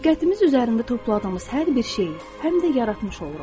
Diqqətimiz üzərində topladığımız hər bir şeyi həm də yaratmış oluruq.